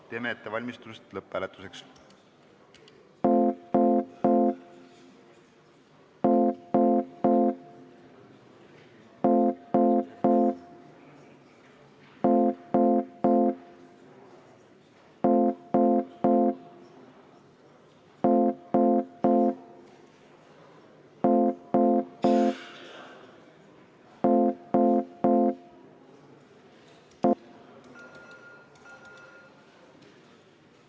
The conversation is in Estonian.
Teeme ettevalmistusi lõpphääletuseks.